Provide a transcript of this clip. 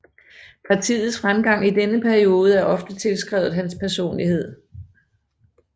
Partiets fremgang i denne periode er ofte tilskrevet hans personlighed